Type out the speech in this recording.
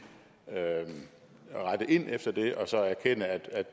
rette ind efter det og så erkende at